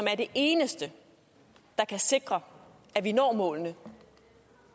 er det eneste der kan sikre at vi når målene